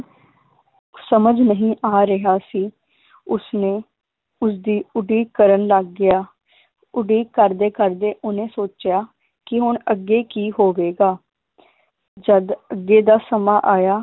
ਸਮਝ ਨਹੀ ਆ ਰਿਹਾ ਸੀ ਉਸਨੇ ਉਸਦੀ ਉਡੀਕ ਕਰਨ ਲੱਗ ਗਿਆ ਉਡੀਕ ਕਰਦੇ ਕਰਦੇ ਓਹਨੇ ਸੋਚਿਆ ਕਿ ਹੁਣ ਅੱਗੇ ਕੀ ਹੋਵੇਗਾ ਜਦ ਅੱਗੇ ਦਾ ਸਮਾਂ ਆਇਆ